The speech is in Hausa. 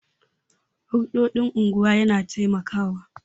Hulɗoɗin unguwa yana taimakawa